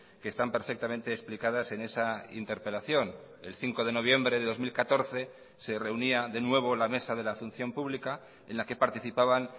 que están perfectamente explicadas en esa interpelación el cinco de noviembre de dos mil catorce se reunía de nuevo la mesa de la función pública en la que participaban